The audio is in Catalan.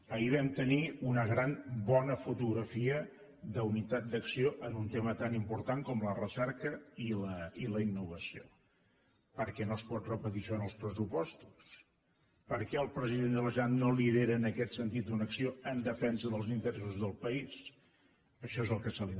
ahir vam tenir una gran bona fotografia d’unitat d’acció en un tema tan important com la recerca i la innovació per què no es pot repetir això en els pressupostos per què el president de la generalitat no lidera en aquest sentit una acció en defensa dels interessos del país això és el que se li demana senyor president